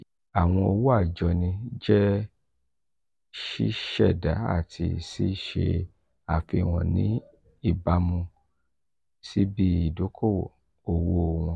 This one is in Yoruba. awọn owo ajoni jẹ siṣẹda ati si ṣe afihan ni ibamu si ibi-idoko-owo wọn.